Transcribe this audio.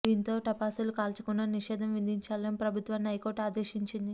దీంతో టపాసులు కాల్చకుండా నిషేధం విధించాలని ప్రభుత్వాన్ని హైకోర్టు ఆదేశించింది